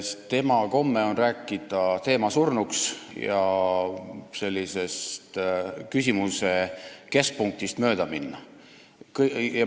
Tema komme on rääkida teemat surnuks ja küsimuse keskpunktist mööda minna.